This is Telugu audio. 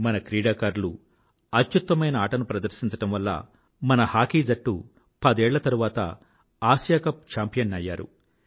మన క్రీడాకారులు అత్యుత్తమైన ఆటను ప్రదర్శించడమ్ వల్ల మన హాకీజట్టు పదేళ్ల తరువాత ఆసియా కప్ చాంపియన్ అయ్యారు